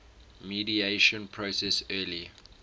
mediation process early